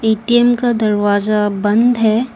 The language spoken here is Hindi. ए_टी_एम का दरवाजा बंद है।